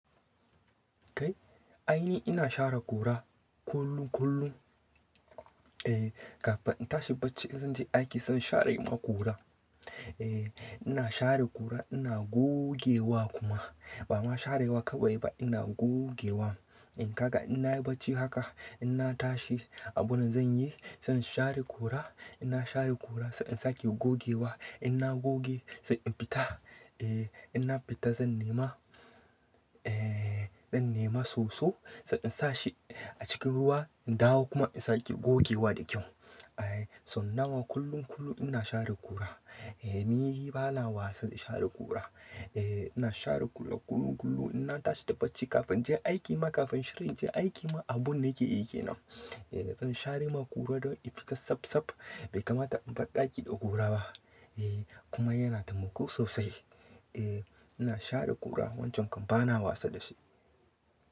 Kai, aini ina share ƙura kullum kullum. Eeh, kafin in tashi bacci in zan je aiki zan share ma ƙura. Eeh, ina share ƙura ina gogewa kuma. Ba ma sharewa kawai ba ina gogewa. In ka ga in na yi bacci haka, in na tashi abun da zan yi, zan share ƙura. In na share ƙura sannan zan sake gogewa. In na goge sai in fita. Eeh, in na fita zan nema, ee zan nema soso, sai in sa shi a cikin ruwa in dawo kuma in sake gogewa da kyau. Ai, sau nawa kullum kullum ina share ƙura. Eeh, ni bana wasa da share ƙura. Eeh, ina share ƙura kullum kullum. In na tashi da bacci kafin in je aiki ma kafin shirin in je aiki ma abun da nake yi kenan. Eeh, zan share ma ƙura dan in fita safsaf bai kamata in bar ɗaki da ƙura ba. Eeh, kuma yana taimako sosai. Eeh, ina share ƙura wancan kam bana wasa da shi.